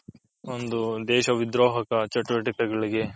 ಒಂದು ದೇಶ ವಿದ್ರೂಹಕ ಒಂದು ಚಟುವಟಿಕೆ ಗಳಿಗೆ